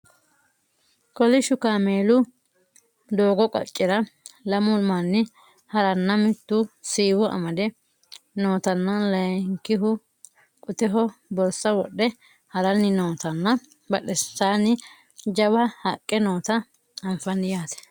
kolishsho kaameelu doogo qaccera lamu manni haranna mittu siiwo amade nootanna layeenkihu qoteho borsa wodhe haranni nootanna badhensaanni jawa haqqe noota anfannite yaate